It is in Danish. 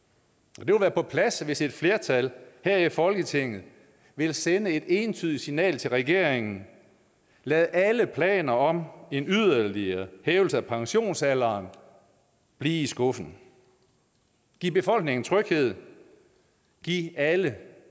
det vil være på sin plads hvis et flertal her i folketinget vil sende et entydigt signal til regeringen lad alle planer om en yderligere hævelse af pensionsalderen blive i skuffen giv befolkningen tryghed giv alle